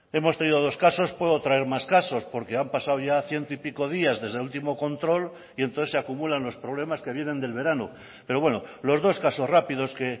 hemos tenido dos casos puedo traer más casos porque han pasado ya ciento y pico días desde el último control y entonces se acumulan los problemas que vienen del verano pero bueno los dos casos rápidos que